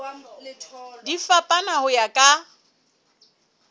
di fapana ho ya ka